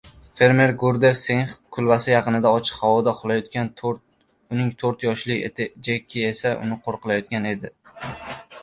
Fermer Gurdev Singx kulbasi yaqinida ochiq havoda uxlayotgan, uning to‘rt yoshli iti Jeki esa uni qo‘riqlayotgan edi.